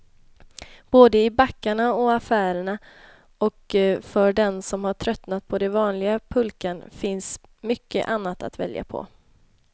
Både i backarna och affärerna, och för den som tröttnat på den vanliga pulkan finns mycket annat att välja på.